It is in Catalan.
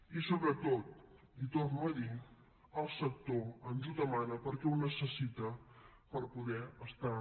i sobretot li torno a dir el sector ens ho demana perquè ho necessita per poder estar